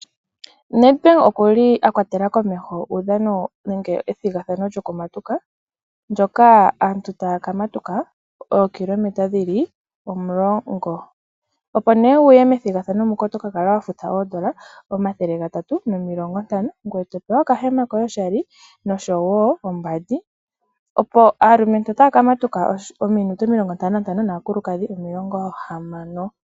Nedbank okuli akwatela komeho uudhano nenge ethigathano lyokumatuka ndoka aantu taya kamatuka ookilomenta dhili omulongo. Opo nee wuye methigathano muka otopumbwa wufute oondola omathele gatatu nomilongo ntano ngoye topewa okambindja oshali oshowo oombandi . Aalumentu otaya kamatuka ookilometa omilongo ntano na ntano naakulukashi omilongo hamano.